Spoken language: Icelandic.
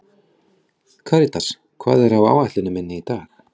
Karítas, hvað er á áætluninni minni í dag?